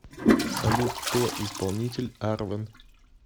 салют кто исполнитель арвен